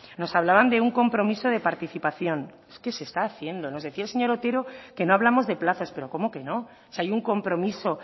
nos hablaban de un compromiso de participación es que se está haciendo nos decía el señor otero que no hablamos de plazos pero cómo que no si hay un compromiso